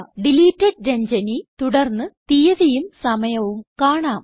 deleted Ranjani തുടർന്ന് തീയതിയും സമയവും കാണാം